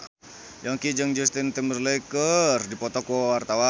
Yongki jeung Justin Timberlake keur dipoto ku wartawan